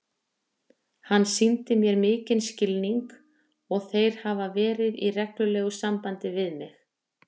Hann sýndi mér mikinn skilning og þeir hafa verið í reglulegu sambandi við mig.